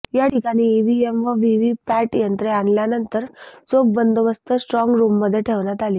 या ठिकाणी ईव्हीएम व व्हीव्हीपॅट यंत्रे आणल्यानंतर चोख बंदोबस्तात स्ट्राँग रुममध्ये ठेवण्यात आली